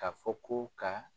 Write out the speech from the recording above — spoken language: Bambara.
K'a fɔ ko ka